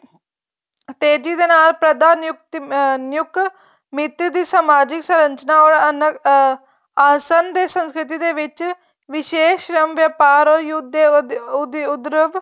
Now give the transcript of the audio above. ਤੇਜ਼ੀ ਦੇ ਨਾਲ ਪਰਧਾ ਅਹ ਨਿਯੁਕ ਮਿਤੀ ਦੀ ਸਮਾਜਿਕ ਸਰ੍ਝਨਾ or ਅਹ ਆਸਨ ਦੀ ਸੰਸਕ੍ਰਿਤੀ ਦੇ ਵਿੱਚ ਵਿਵੇਸ ਰਮ ਵੇਪਾਰ or ਯੁੱਧ ਦੇ ਉਦਰਵ